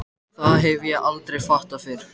Það hef ég aldrei fattað fyrr.